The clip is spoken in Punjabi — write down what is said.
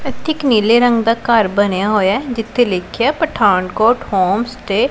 ਏੱਥੇ ਇੱਕ ਨੀਲੇ ਰੰਗ ਦਾ ਘੱਰ ਬਨਿਆ ਹੋਇਆ ਹੈ ਜਿਥੇ ਲਿੱਖਿਆ ਹੈ ਪਠਾਨਕੋਟ ਹੋਮ ਸਟੇ ।